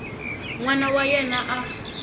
n wana wa yena a